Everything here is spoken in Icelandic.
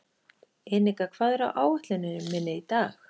Enika, hvað er á áætluninni minni í dag?